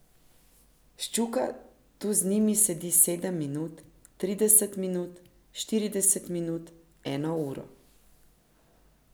Ščuka tu z njimi sedi sedem minut, trideset minut, štirideset minut, eno uro.